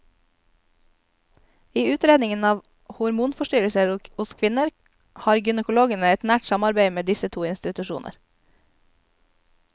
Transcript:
I utredningen av hormonforstyrrelser hos kvinner har gynekologene et nært samarbeid med disse to institusjoner.